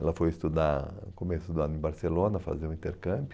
Ela foi estudar, no começo do ano, em Barcelona, fazer o intercâmbio.